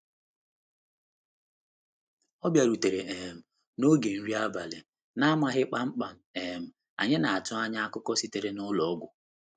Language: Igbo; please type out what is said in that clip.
Ọ bịarutere um na oge nri abalị, na-amaghị kpamkpam um anyị na-atụ anya akụkọ sitere n'ụlọ ọgwụ.